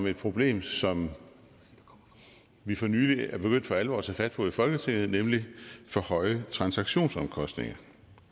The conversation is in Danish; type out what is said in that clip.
et problem som vi for nylig er begyndt for alvor at tage fat på i folketinget nemlig for høje transaktionsomkostninger